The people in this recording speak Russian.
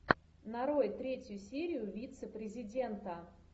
нарой третью серию вице президента